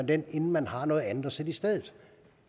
den inden man har noget andet at sætte i stedet